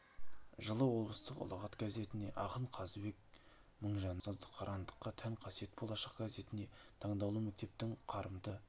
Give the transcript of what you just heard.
жылы облыстық ұлағат газетіне ақын қазыбек мыңжанның ұстаздық қырандыққа тән қасиет болашақ газетіне таңдаулы мектептің қарымды